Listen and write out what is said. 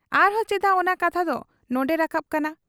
ᱟᱨᱦᱚᱸ ᱪᱮᱫᱟᱜ ᱚᱱᱟ ᱠᱟᱛᱷᱟ ᱫᱚ ᱱᱚᱱᱰᱮ ᱨᱟᱠᱟᱵ ᱠᱟᱱᱟ ᱾